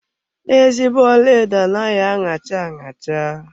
Ezigbo ọlaedo anaghị aṅacha aṅacha.